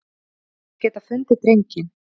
Þeir geta fundið drenginn.